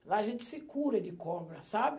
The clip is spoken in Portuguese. Lá a gente se cura de cobra, sabe?